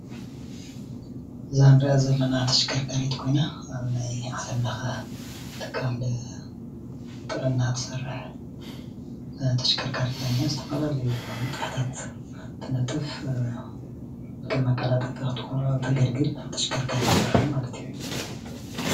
ዛንሪኣ ዘለና ተሽከርካሪት ኮይና ኣብ ናይ ዓለም ለከ ትካል ጥዕና ትሰርሕ ተሽከርካሪት እያ እኒኣ ዝተፈላለዩ ንጥፈታት ትነጥፍ ከም መቀላጣጠፊት ተገልግን ተሽከርካሪት እያ ዝኒሃ ማለት እዩ ።